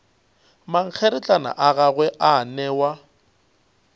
mankgeretlana a gagwe a newa